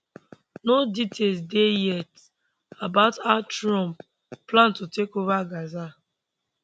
no details dey yet about how trump plan to take over gaza